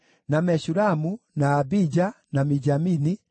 na Meshulamu, na Abija, na Mijamini,